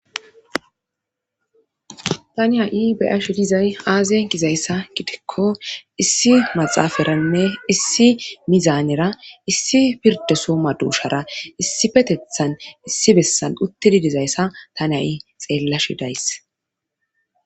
tani ha7i beyash dizay aazen gizayssa gidikko issi maxaafaranne issi mizaanera issi pirde soma duushara issi petethan issi bessan uttidi dizayssa ta nayi xeellashi days